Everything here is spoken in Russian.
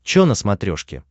чо на смотрешке